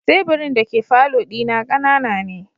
Teburin dake falo dina kanana ne.